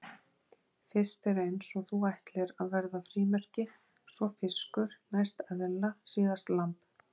Fyrst er eins og þú ætlir að verða frímerki, svo fiskur, næst eðla, síðast lamb.